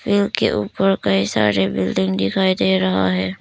पेड़ के ऊपर कई सारे बिल्डिंग दिखाई दे रहा है।